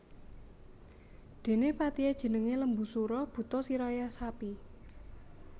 Dene patihe jenenge Lembusura buta sirahe sapi